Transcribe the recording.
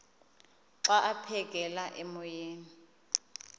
xa aphekela emoyeni